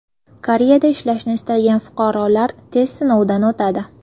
Koreyada ishlashni istagan fuqarolar test sinovidan o‘tadi .